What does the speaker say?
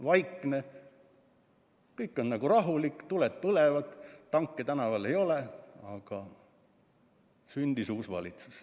Kõik on nagu vaikne ja rahulik, tuled põlevad, tanke tänaval ei ole, aga sündis uus valitsus.